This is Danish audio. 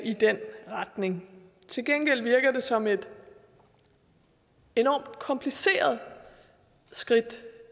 i den retning til gengæld virker det som et enormt kompliceret skridt